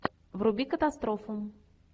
вруби катастрофу